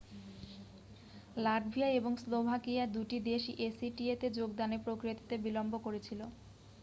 Latvia এবং Slovakia দুটি দেশই acta-তে যোগদানের প্রক্রিয়াতে বিলম্ব করেছিল।